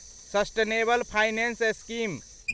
sustainable finance scheme